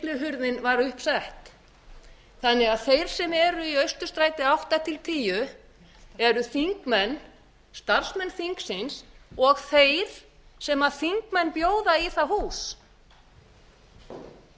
var sett upp þannig að þeir sem eru í austurstræti átta til tíu eru þingmenn starfsmenn þingsins og þeir sem þingmenn bjóða í það hús